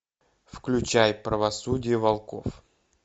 включай правосудие волков